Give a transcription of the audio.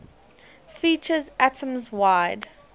features atoms wide